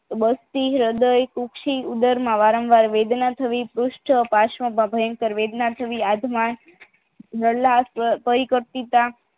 બસ્તી હ્રદય્ ઉદર માં વારંવાર વેદના થવી પરૂસથી માં ભયંકર વેદના થવી આત્મા કઈ કરતી કામ